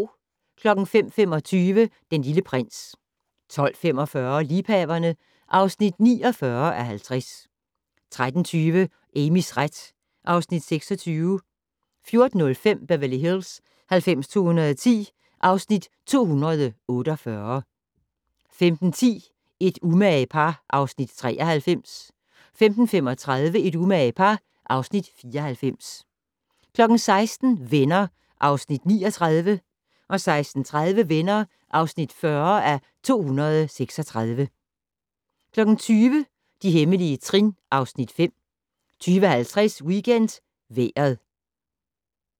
05:25: Den Lille Prins 12:45: Liebhaverne (49:50) 13:20: Amys ret (Afs. 26) 14:05: Beverly Hills 90210 (Afs. 248) 15:10: Et umage par (Afs. 93) 15:35: Et umage par (Afs. 94) 16:00: Venner (Afs. 39) 16:30: Venner (40:236) 20:00: De hemmelige trin (Afs. 5) 20:50: WeekendVejret